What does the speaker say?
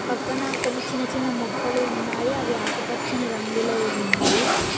పక్కన కొన్ని చిన్న చిన్న మొక్కలు ఉన్నాయి అవి ఆకుపచ్చని రంగులో ఉన్నాయి.